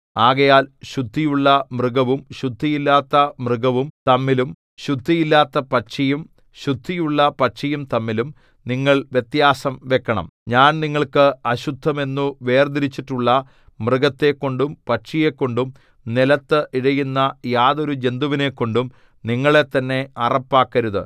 ആകയാൽ ശുദ്ധിയുള്ള മൃഗവും ശുദ്ധിയില്ലാത്ത മൃഗവും തമ്മിലും ശുദ്ധിയില്ലാത്ത പക്ഷിയും ശുദ്ധിയുള്ള പക്ഷിയും തമ്മിലും നിങ്ങൾ വ്യത്യാസം വെക്കണം ഞാൻ നിങ്ങൾക്ക് അശുദ്ധമെന്നു വേർതിരിച്ചിട്ടുള്ള മൃഗത്തെക്കൊണ്ടും പക്ഷിയെക്കൊണ്ടും നിലത്ത് ഇഴയുന്ന യാതൊരു ജന്തുവിനെക്കൊണ്ടും നിങ്ങളെത്തന്നെ അറപ്പാക്കരുത്